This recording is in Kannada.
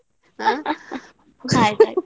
ಹಾ ಹಾ ಆಯ್ತಾಯ್ತು.